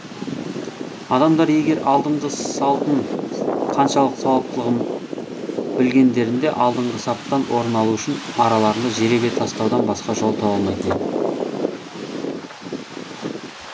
адамдар егер алдыңғы салтын қаншалық сауаптылығын білгендерінде алдыңғы саптан орын алу үшін араларында жеребе тастаудан басқа жол таба алмайтын еді